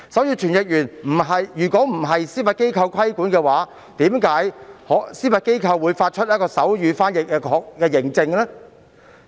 如傳譯員不受司法機構規管，為何司法機構可發出手語傳譯認證？